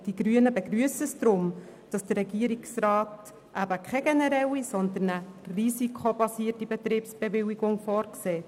Deshalb begrüssen es die Grünen, dass der Regierungsrat keine generelle, sondern eine risikobasierte Betriebsbewilligung vorsieht.